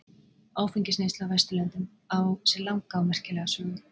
áfengisneysla á vesturlöndum á sér langa og merkilega sögu